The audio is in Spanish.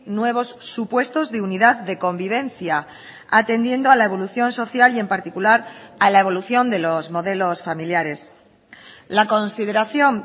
nuevos supuestos de unidad de convivencia atendiendo a la evolución social y en particular a la evolución de los modelos familiares la consideración